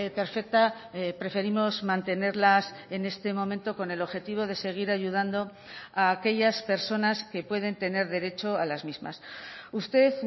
perfecta preferimos mantenerlas en este momento con el objetivo de seguir ayudando a aquellas personas que pueden tener derecho a las mismas usted